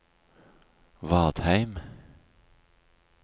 Vadheim